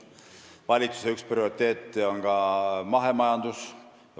Valitsuse üks prioriteete on ka mahemajandus.